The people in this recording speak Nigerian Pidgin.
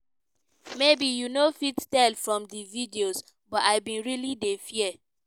"maybe you no fit tell from di videos but i bin really dey fear!"